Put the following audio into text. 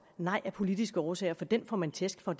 nej af politiske årsager for den får man tæsk for